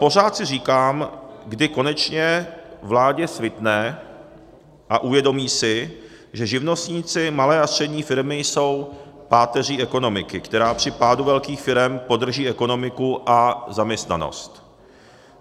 Pořád si říkám, kdy konečně vládě svitne a uvědomí si, že živnostníci, malé a střední firmy jsou páteří ekonomiky, která při pádu velkých firem podrží ekonomiku a zaměstnanost.